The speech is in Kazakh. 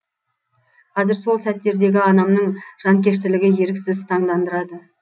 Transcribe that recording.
қазір сол сәттердегі анамның жанкештілігі еріксіз таңдандырады